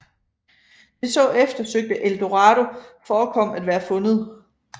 Det så eftersøgte El Dorado forekom at være fundet